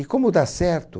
E como dá certo...